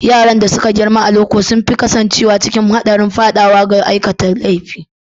Yaran da suka girma a loko sun fi kasancewa cikin haɗarin faɗawa ga aikata laifi.